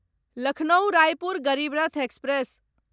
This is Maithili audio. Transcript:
लखनऊ रायपुर गरीब रथ एक्सप्रेस